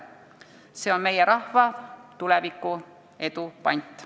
See on meie rahva tuleviku edu pant.